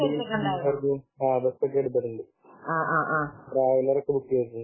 ആഹ് ബസൊക്കെ എടുത്തിട്ടുണ്ട് ട്രാവലർ ഒക്കെ ബുക്ക് ചെയ്തിട്ടുണ്ട്